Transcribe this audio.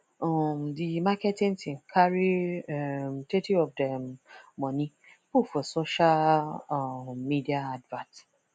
um di marketing team carry um thirty of dem money put for social um media advert